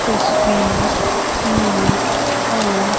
तस्वीर में आप--